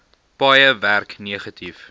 paaie werk negatief